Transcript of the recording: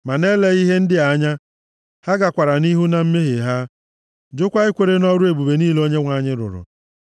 Ma na-eleghị ihe ndị a anya, ha gakwara nʼihu na mmehie ha, jụkwa ikwere nʼọrụ ebube niile Onyenwe anyị rụrụ.